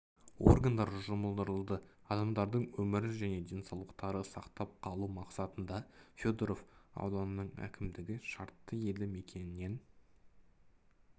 органдар жұмылдырылды адамдардың өмірін және денсаулықтарын сақтап қалу мақсатында федоров ауданының әкімдігі шартты елді мекеннен